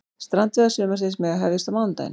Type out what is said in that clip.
Strandveiðar sumarsins mega hefjast á mánudaginn